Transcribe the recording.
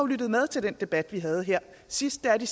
lyttet med til den debat vi havde her sidst er at det